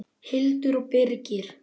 Hildur og Birgir.